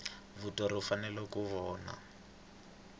muthori u fanele ku vona